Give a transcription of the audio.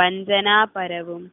വഞ്ചനാ പരവും